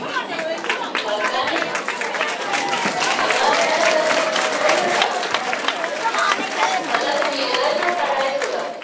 ਮਲਕਾ ਨੀ ਕਲਾ ਮੈ ਓਹਦਾ ਕਮੀਜ਼ ਦਾ ਹੀ ਟੋਟਾ ਕਲਾ ਕਮੀਜ਼ ਦਾ ਹੀ ਟੋਟਾ ਟਾਈ ਸੋ ਦਾ